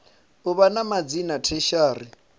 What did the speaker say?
u vha na madzina tertiary